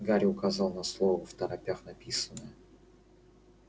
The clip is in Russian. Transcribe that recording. гарри указал на слово второпях написанное